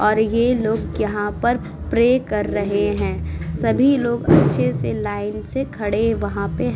और ये लोग यहाँ पर प्रे कर रहे हैं। सभी लोग अच्छे से लाइन से खड़े वहाँ पे ह् --